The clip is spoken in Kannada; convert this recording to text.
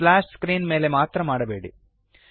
ಸ್ಪ್ಲಾಶ್ ಸ್ಕ್ರೀನ್ ಮೇಲೆ ಮಾತ್ರ ಮಾಡಬೇಡಿ